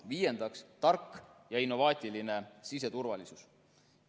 Viiendaks, tark ja innovaatiline siseturvalisus.